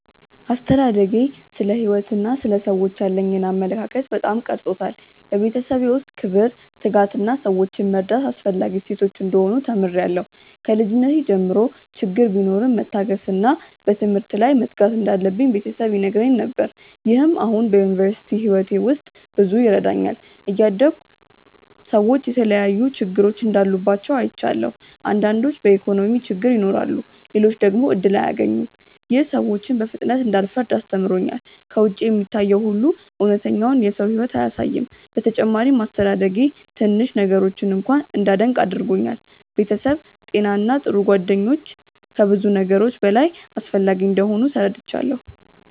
አስተዳደጌ ስለ ሕይወት እና ስለ ሰዎች ያለኝን አመለካከት በጣም ቀርጾታል። በቤተሰቤ ውስጥ ክብር፣ ትጋት እና ሰዎችን መርዳት አስፈላጊ እሴቶች እንደሆኑ ተምሬያለሁ። ከልጅነቴ ጀምሮ ችግር ቢኖርም መታገስ እና በትምህርት ላይ መትጋት እንዳለብኝ ቤተሰብ ይነግረኝ ነገር። ይህም አሁን በዩኒቨርሲቲ ሕይወቴ ውስጥ ብዙ ይረዳኛል። እያደግሁ ሰዎች የተለያዩ ችግሮች እንዳሉባቸው አይቻለሁ። አንዳንዶች በኢኮኖሚ ችግር ይኖራሉ፣ ሌሎች ደግሞ እድል አያገኙም። ይህ ሰዎችን በፍጥነት እንዳልፈርድ አስተምሮኛል። ከውጭ የሚታየው ሁሉ እውነተኛውን የሰው ሕይወት አያሳይም። በተጨማሪም አስተዳደጌ ትንሽ ነገሮችን እንኳ እንዳደንቅ አድርጎኛል። ቤተሰብ፣ ጤና እና ጥሩ ጓደኞች ከብዙ ነገሮች በላይ አስፈላጊ እንደሆኑ ተረድቻለሁ።